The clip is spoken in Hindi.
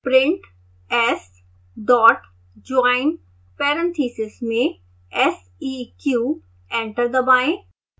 print s dot join parentheses में seq एंटर दबाएं